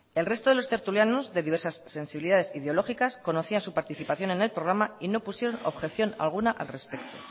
el resto de los tertulianos de diversas sensibilidades ideológicas conocían su participación en el programa y no pusieron objeción alguna al respeto